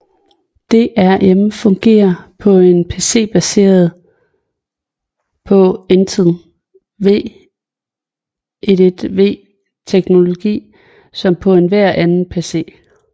DRM fungerer på en PC baseret på Intel VIIV teknologi som på enhver anden PC